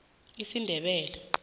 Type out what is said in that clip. esindebele